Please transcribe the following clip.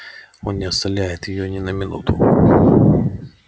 он не оставляет её ни на минуту